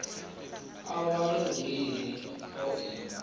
a wale wili o i